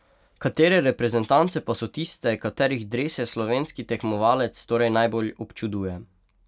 Katere reprezentance pa so tiste, katerih drese slovenski tekmovalec torej najbolj občuduje?